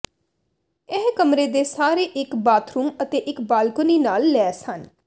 ਇਹ ਕਮਰੇ ਦੇ ਸਾਰੇ ਇੱਕ ਬਾਥਰੂਮ ਅਤੇ ਇੱਕ ਬਾਲਕੋਨੀ ਨਾਲ ਲੈਸ ਹਨ